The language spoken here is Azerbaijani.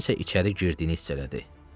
Kimsənin içəri girdiyini hiss etdi.